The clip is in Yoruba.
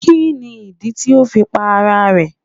Kí ni ìdí tí o fi pa ara rẹ̀.?